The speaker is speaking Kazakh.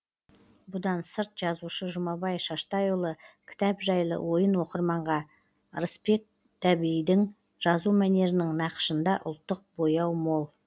бұдан сырт жазушы жұмабай шаштайұлы кітап жайлы ойын оқырманға ырысбек дәбейдің жазу мәнерінің нақышында ұлттық бояу мол